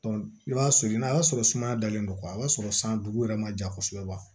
i b'a soli n'a y'a sɔrɔ sumaya dalen don a b'a sɔrɔ san dugu yɛrɛ ma ja kosɛbɛ wa